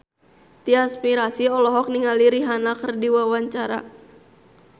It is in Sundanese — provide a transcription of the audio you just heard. Tyas Mirasih olohok ningali Rihanna keur diwawancara